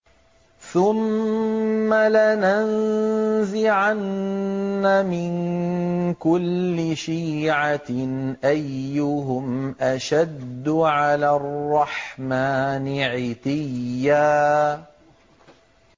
ثُمَّ لَنَنزِعَنَّ مِن كُلِّ شِيعَةٍ أَيُّهُمْ أَشَدُّ عَلَى الرَّحْمَٰنِ عِتِيًّا